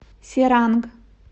серанг